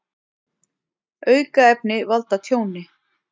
Aukaefni valda tjóni